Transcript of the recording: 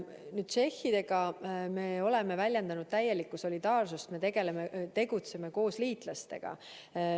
Tšehhidega me oleme väljendanud täielikku solidaarsust, me tegutseme nendes küsimustes koos liitlastega.